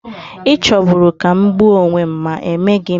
Ị chọburu ka m gbuo onwe m, ma emeghị m.